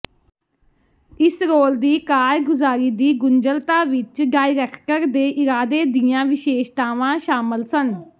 ਇਸ ਰੋਲ ਦੀ ਕਾਰਗੁਜ਼ਾਰੀ ਦੀ ਗੁੰਝਲਤਾ ਵਿਚ ਡਾਇਰੈਕਟਰ ਦੇ ਇਰਾਦੇ ਦੀਆਂ ਵਿਸ਼ੇਸ਼ਤਾਵਾਂ ਸ਼ਾਮਲ ਸਨ